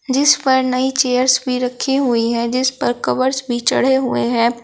जिस पर नई चेयर्स भी रखी हुई हैं जिस पर कवर्स भी चढ़े हुए हैं।